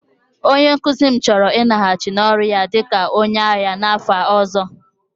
Onye nkuzi m chọrọ ịlaghachi n'ọrụ ya dị ka onye agha n'afọ ọzọ